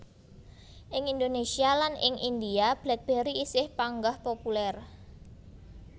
Ing Indonésia lan ing India BlackBerry isih panggah populèr